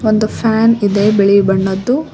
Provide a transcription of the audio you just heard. ಒಂದು ಫ್ಯಾನ್ ಇದೆ ಬಿಳಿ ಬಣ್ಣದ್ದು.